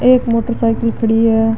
एक motorcycle खड़ी है।